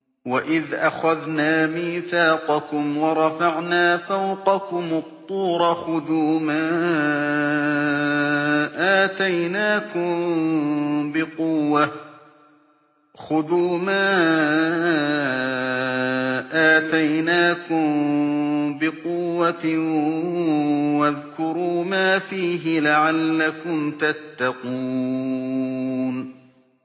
وَإِذْ أَخَذْنَا مِيثَاقَكُمْ وَرَفَعْنَا فَوْقَكُمُ الطُّورَ خُذُوا مَا آتَيْنَاكُم بِقُوَّةٍ وَاذْكُرُوا مَا فِيهِ لَعَلَّكُمْ تَتَّقُونَ